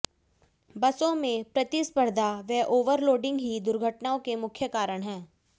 बसों में प्रतिस्पर्धा व ओवरलोडिंग ही दुर्घटनाओं के मुख्य कारण हैं